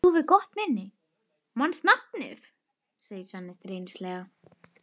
Þú hefur gott minni, manst nafnið, segir Svenni stríðnislega.